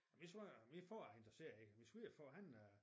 Min sviger min far er interesseret i det min svigerfar han er